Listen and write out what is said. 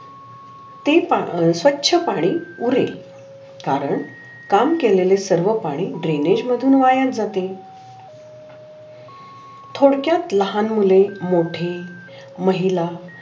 ते पा अं स्वच्छ पाणी पुढे कारण काम केलेले सर्व पाणी द्रेनेज मधून वाया जाते. थोडक्यात लहान मुले मोठे महिला